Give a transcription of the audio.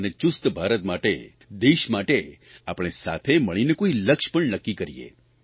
અને ચુસ્ત ભારત માટે દેશ માટે આપણે સાથે મળીને કોઇ લક્ષ્ય પણ નક્કી કરીએ